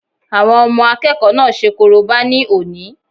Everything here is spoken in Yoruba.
Àwọn ọmọ àkẹ́kọ̀ọ́ náà ṣe korobá ní òní